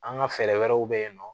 An ka fɛɛrɛ wɛrɛw bɛ yen nɔ